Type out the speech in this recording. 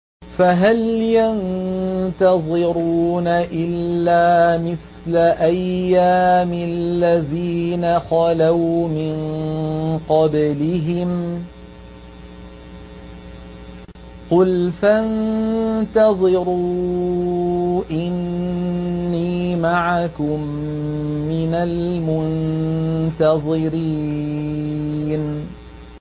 فَهَلْ يَنتَظِرُونَ إِلَّا مِثْلَ أَيَّامِ الَّذِينَ خَلَوْا مِن قَبْلِهِمْ ۚ قُلْ فَانتَظِرُوا إِنِّي مَعَكُم مِّنَ الْمُنتَظِرِينَ